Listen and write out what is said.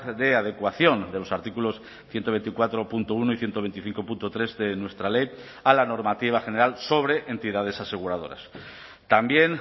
de adecuación de los artículos ciento veinticuatro punto uno y ciento veinticinco punto tres de nuestra ley a la normativa general sobre entidades aseguradoras también